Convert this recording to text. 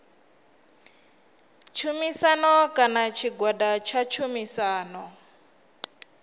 tshumisano kana tshigwada tsha tshumisano